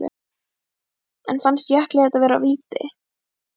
En fannst Jökli þetta vera víti?